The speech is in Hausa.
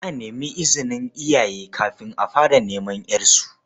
Za a nemi izinin iyaye kafin a fara neman ƴarsu.